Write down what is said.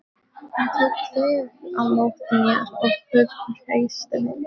Hann tók vel á móti mér og hughreysti mig.